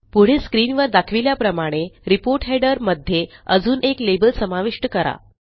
पुढे स्क्रीनवर दाखविल्याप्रमाणे रिपोर्ट हेडर मध्ये अजून एक लेबल समाविष्ट करा